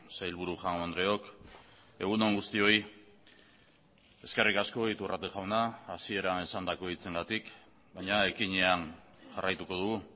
sailburu jaun andreok egun on guztioi eskerrik asko iturrate jauna hasieran esandako hitzengatik baina ekinean jarraituko dugu